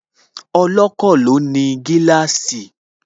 Ọlọ́kọ̀ ni ó ní gíláàsì